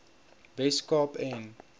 wes kaap en